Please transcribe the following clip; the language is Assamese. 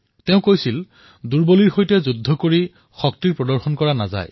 তেওঁ কৈছিল যে দুৰ্বলীসকলৰ সৈতে যুদ্ধ কৰি শক্তি প্ৰদৰ্শন কৰা নহয়